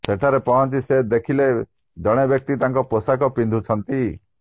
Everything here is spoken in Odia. ସେଠାରେ ପହଞ୍ଚି ସେ ଦେଖିଲେ ଜଣେ ବ୍ୟକ୍ତି ତାଙ୍କ ପୋଷାକ ପିନ୍ଧୁଛନ୍ତି